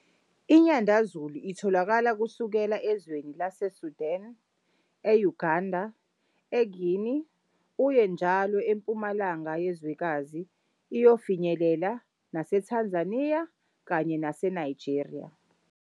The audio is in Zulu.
INyandezulu itholakala kusukela ezweni laseSudan, e-uGanda, eGuinea uye njalo empumalanga yezwekazi iyofinyelela naseTanzania kanye naseNigeria.